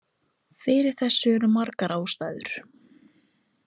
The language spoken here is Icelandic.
Fyrir þessu eru margar ástæður.